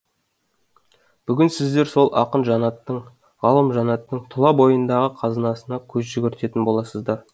бүгін сіздер сол ақын жанаттың ғалым жанаттың тұла бойындағы қазынасына көз жүгіртетін боласыздар